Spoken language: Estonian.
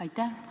Aitäh!